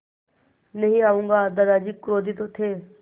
नहीं आऊँगा दादाजी क्रोधित थे